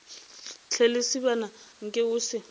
hle lesibana nke o se